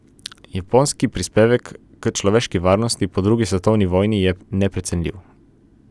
Japonski prispevek k človeški varnosti po drugi svetovni vojni je neprecenljiv.